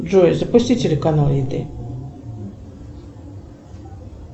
джой запусти телеканал еды